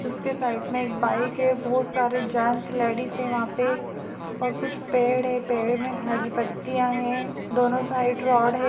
उसके साइड में एक बाइक है। बहोत सारे जेंट्स लेडीज हैं वहाँ पे और कुछ पेड़ है। पेड़ में हरी पत्तियां हैं। दोनों साइड रॉड है।